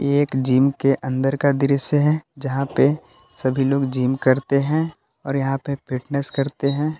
एक जिम के अंदर का दृश्य है यहां पे सभी लोग जिम करते हैं और यहां पे फिटनेस करते हैं।